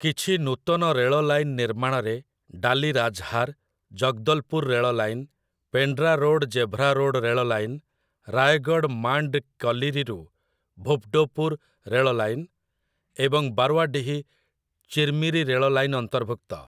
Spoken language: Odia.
କିଛି ନୂତନ ରେଳ ଲାଇନ ନିର୍ମାଣରେ ଡାଲୀ ରାଜ୍‌ହାର୍‌, ଜଗଦଲ୍‌ପୁର ରେଳ line, Pendra road Gevra road ରେଳ ଲାଇନ, ରାୟଗଡ଼୍ ମାଣ୍ଡ୍ କଲିରିରୁ ଭୁପ୍‌ଡ଼ୋପୁର ରେଳ ଲାଇନ ଏବଂ ବାରୱାଡିହି ଚିର୍ମିରୀ ରେଳ ଲାଇନ ଅନ୍ତର୍ଭୁକ୍ତ ।